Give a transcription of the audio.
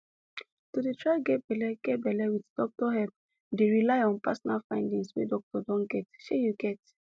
to dey try get belle get belle with doctor help dey rely on personal findings wey doctor don get shey you get